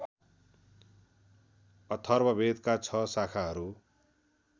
अथर्ववेदका छ शाखाहरू